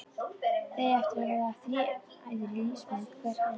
Þið eigið eftir að verða þræðir í lífsmynd hvers annars.